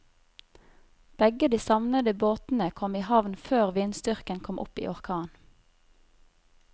Begge de savnede båtene kom i havn før vindstyrken kom opp i orkan.